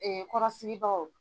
Ɛɛ kɔrɔsigibagaw